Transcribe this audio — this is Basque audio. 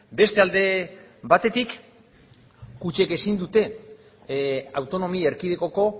beste alde batetik kutxek ezin dute autonomia erkidegoko